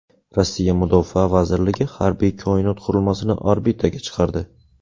Rossiya mudofaa vazirligi harbiy koinot qurilmasini orbitaga chiqardi.